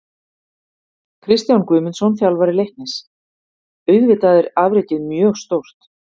Kristján Guðmundsson, þjálfari Leiknis: Auðvitað er afrekið mjög stórt.